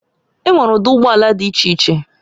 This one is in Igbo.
Enwere ụdị ụgbọ ala dị iche iche